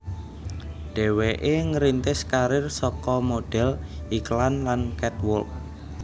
Dhéwéké ngrintis karir saka modhél iklan lan catwalk